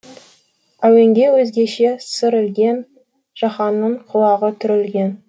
әуенге өзгеше сыр ілген жаһанның құлағы түрілген